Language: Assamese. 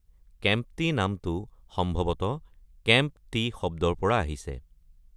কেম্প্টি নামটো সম্ভৱত 'কেম্প-টি" শব্দৰ পৰা আহিছে।